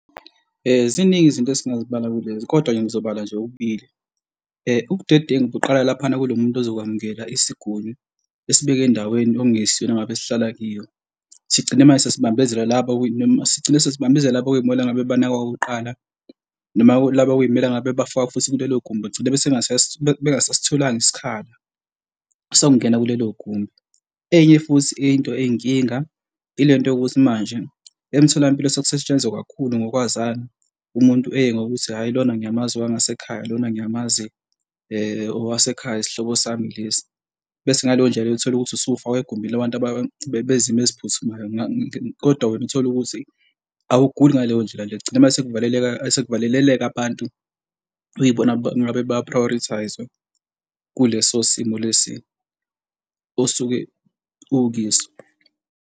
Ziningi izinto esingazibala kulezi kodwa ke ngizobala nje okubili. Ubudedengu buqala laphayana kulo muntu ozokwamukela isiguni esibeke endaweni okungesiyona ngabe sihlala kiyo sigcine manje sesibambezela laba noma sigcine sesibahambisela laba ukumele ngabe banakwa okokuqala noma laba okumela ngabe bafakwe futhi kulelo gumbi begcine besengasasitholanga isikhala sokungena kulelo gumbi. Enye futhi into eyinkinga ile nto yokuthi manje emtholampilo sekusetshenzwa kakhulu kokwazana umuntu eye ngokuthi hhayi lona ngiyamazi owangasekhaya lona ngiyamazi owasekhaya isihlobo sami lesi, bese ngaleyo ndlela leyo uthole ukuthi usufakwa egumbini labantu abezimo eziphuthumayo, kodwa wena uthole ukuthi awugili ngaleyo ndlela nje kugcine manje sekuvaleka, sekuvaleleleka abantu okuyibona ngabe baya-prioritise-we kuleso simo lesi osuke ukyiso.